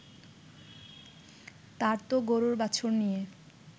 তার তো গরুর বাছুর নিয়ে